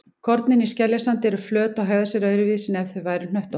Kornin í skeljasandi eru flöt og hegða sér öðruvísi en ef þau væru hnöttótt.